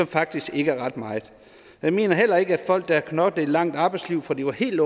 faktisk ikke er ret meget jeg mener heller ikke at folk der har knoklet et langt arbejdsliv fra de var helt